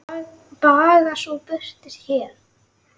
Baga sú er birtist hér.